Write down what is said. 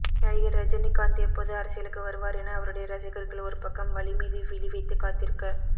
நடிகர் ரஜினிகாந்த் எப்போது அரசியலுக்கு வருவார் என அவருடைய ரசிகர்கள் ஒரு பக்கம் வழி மீது விழி வைத்து காத்திருக்க